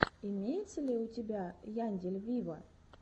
имеется ли у тебя яндель виво